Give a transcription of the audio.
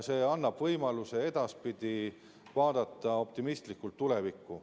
See annab võimaluse vaadata edaspidi optimistlikult tulevikku.